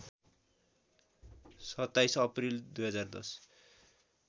२७ April २०१०